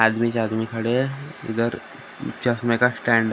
आदमी ही आदमी खड़े हैं इधर चश्मे का स्टैंड --